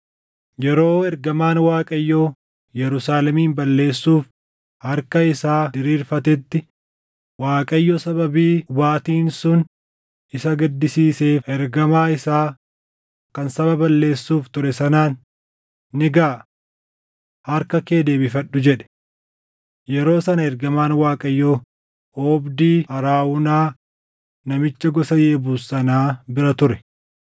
Yeroo ergamaan Waaqayyoo Yerusaalemin balleessuuf harka isaa diriirfatetti Waaqayyo sababii hubaatiin sun isa gaddisiiseef ergamaa isaa kan saba balleessuuf ture sanaan, “Ni gaʼa! Harka kee deebifadhu” jedhe. Yeroo sana ergamaan Waaqayyoo oobdii Arawunaa namicha gosa Yebuus sanaa bira ture.